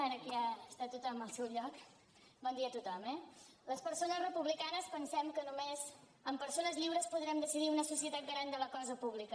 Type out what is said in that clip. ara que ja està tothom al seu lloc bon dia a tothom eh les persones republicanes pensem que només amb persones lliures podrem decidir una societat garant de la cosa pública